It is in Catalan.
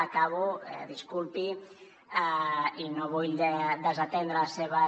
acabo disculpi i no vull desatendre les seves